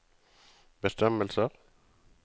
bestemmelser